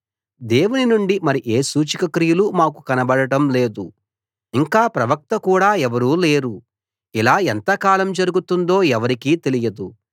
దేవుని నుండి మరి ఏ సూచకక్రియలూ మాకు కనబడటం లేదు ఇంకా ప్రవక్త కూడా ఎవరూ లేరు ఇలా ఎంతకాలం జరుగుతుందో ఎవరికీ తెలియదు